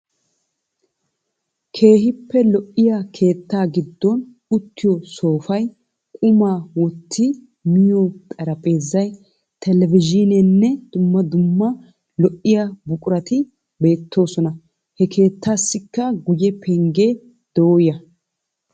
Keehippe lo"iyaa keettaa giddon uttiyoo soofay, qumaa wotti miyo xarapheezay, televizhineenne dumma dumma lo"iyaa buqurati beettoosona, he keettaassika guye penggee dooya.